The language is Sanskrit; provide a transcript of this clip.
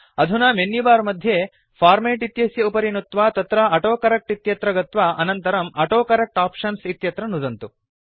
अधुना मेन्युबार मध्ये फॉर्मेट् इत्यस्य उपरि नुत्वा तत्र ऑटोकरेक्ट इत्यत्र गत्वा अनन्तरं ऑटोकरेक्ट आप्शन्स् इत्यत्र नुदन्तु